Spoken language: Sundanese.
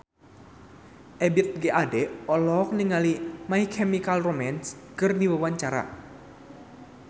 Ebith G. Ade olohok ningali My Chemical Romance keur diwawancara